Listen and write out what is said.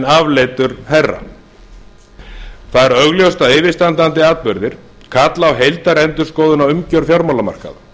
afleitur herra það er augljóst að yfirstandandi atburðir kalla á heildarendurskoðun á umgjörð fjármálamarkaða